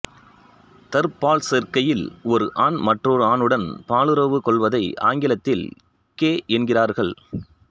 தற்பால்ச்சேர்க்கையில் ஒரு ஆண் மற்றொரு ஆணுடன் பாலுறவு கொள்வதை ஆங்கிலத்தில் கே என்கிறார்கள்